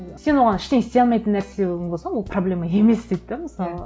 сен оған ештеңе істей алмайтын нәрсең болса ол проблема емес дейді де мысалы